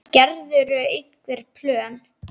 Gerirðu einhver plön?